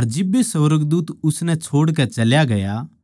अर जिब्बे ए सुर्गदूत उसनै छोड़कै चल्या गया